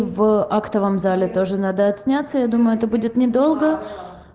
в актовом зале тоже надо отсняться я думаю это будет недолго